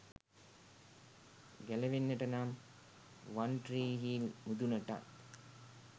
ගැලවෙන්නට නම් වන්ට්‍රීහිල් මුදුනටත්